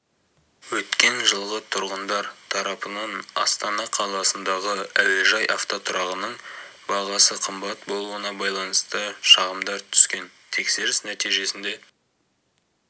өткен жылы тұрғындар тарапынан астана қаласындағы әуежай автотұрағының бағасы қымбат болуына байланысты шағымдар түскен тексеріс нәтижесінде